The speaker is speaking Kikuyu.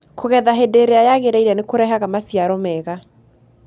Kũgetha hĩndĩ ĩrĩa yagĩrĩire nĩ kũrehaga maciaro mega.